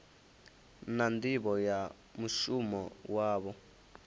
na nḓivho ya mushumo wavho